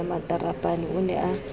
ya matarapane o ne a